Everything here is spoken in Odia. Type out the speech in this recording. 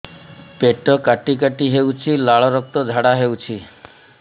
ପେଟ କାଟି କାଟି ହେଉଛି ଲାଳ ରକ୍ତ ଝାଡା ହେଉଛି